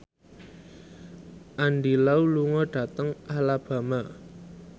Andy Lau lunga dhateng Alabama